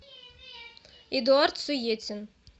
эдуард суетин